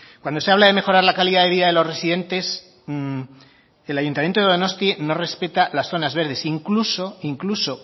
cuando se habla de mejorar la calidad de vida de los residentes el ayuntamiento de donosti no respeta las zonas verdes incluso incluso